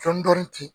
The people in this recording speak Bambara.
Dɔɔnin-dɔɔnin ten